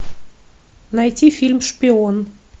найти фильм шпион